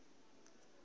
mabebo hu si na u